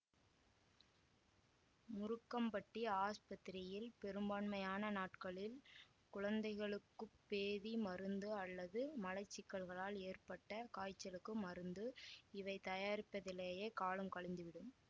முருக்கம்பட்டி ஆஸ்பத்திரியில் பெரும்பான்மையான நாட்களில் குழந்தைகளுக்கு பேதி மருந்து அல்லது மலச்சிக்கல்களால் ஏற்பட்ட காய்ச்சலுக்கு மருந்து இவை தயாரிப்பதிலேயே காலம் கழிந்துவிடும்